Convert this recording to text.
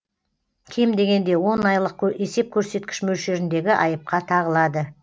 кем дегенде он айлық есеп көрсеткіш мөлшеріндегі айыпқа тағылады